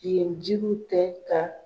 Yen jiriw tɛ ka